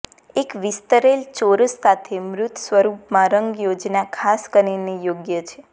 એક વિસ્તરેલ ચોરસ સાથે મૂર્ત સ્વરૂપ માં રંગ યોજના ખાસ કરીને યોગ્ય છે